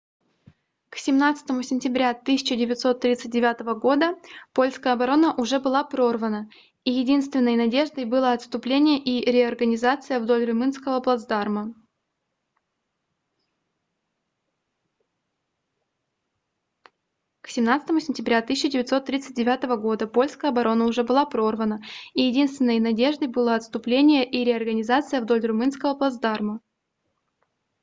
к 17 сентября 1939 года польская оборона уже была прорвана и единственной надеждой было отступление и реорганизация вдоль румынского плацдарма